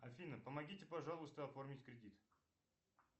афина помогите пожалуйста оформить кредит